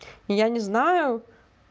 я не знаю